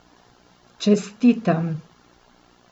Čestitam!